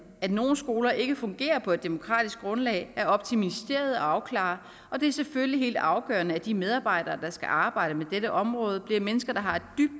at nogle skoler ikke fungerer på et demokratisk grundlag er op til ministeriet at afklare og det er selvfølgelig helt afgørende at de medarbejdere der skal arbejde med dette område er mennesker der har et